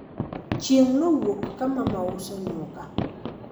chieng nowuok ka mama uso nyuka